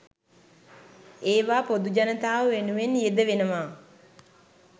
ඒවා පොදු ජනතාව වෙනුවෙන් යෙදවෙනවා.